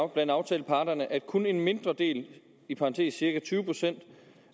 blandt aftaleparterne at kun en mindre del i parentes cirka tyve procent